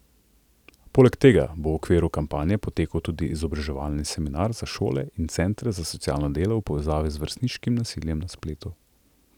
Poleg tega bo v okviru kampanje potekal tudi izobraževalni seminar za šole in centre za socialno delo v povezavi z vrstniškim nasiljem na spletu.